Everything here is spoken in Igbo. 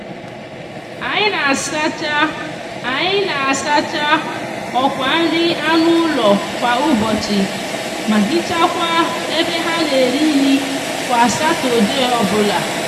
anyi n'asacha anyi n'asacha okwa nri anu ulo kwa ubochi ma hichakwa ebe ha n'eri nri kwa satode obula